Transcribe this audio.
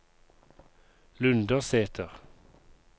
Lundersæter